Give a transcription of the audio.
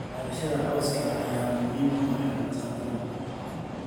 Beerashada cawska ayaa muhiim u ah xoolo-dhaqatada.